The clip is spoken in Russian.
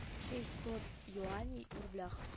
шестьсот юаней в рублях